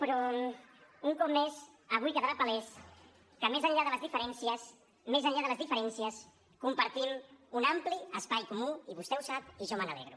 però un cop més avui quedarà palès que més enllà de les diferències més enllà de les diferències compartim un ampli espai comú i vostè ho sap i jo me n’alegro